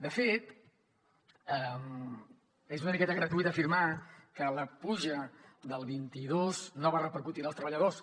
de fet és una miqueta gratuït afirmar que la puja del vint dos no va repercutir en els treballadors